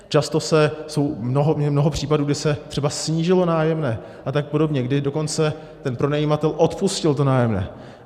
Často je mnoho případů, kdy se třeba snížilo nájemné a tak podobně, kdy dokonce ten pronajímatel odpustil to nájemné.